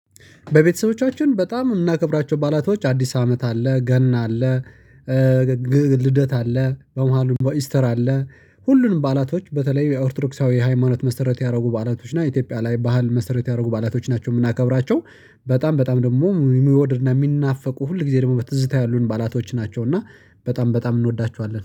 በቤተሰቦቻችን በጣም የምናከብራቸው ባአላቶች አዲስ አመት አለ ገና አለ። ልደት አለ በመሃሉ ኢስተር አለ። ሁሉንም ባላቶች በተለይ የኦርቶዶክሳዊ ሃይማኖት መሰረት ያደረጉ ባላቶች እና ኢትዮጵያ ላይ ባህል መሰረት ያደረጉ ባህላቶች ናቸው የምናከብራቸው። በጣም በጣም ደግሞ የሚወድድና የሚናፈቁ ሁል ጊዜ ደግሞ በትዝታ ያሉን ባአላቶች ናቸው። እና በጣም በጣም እንወዳቸዋለን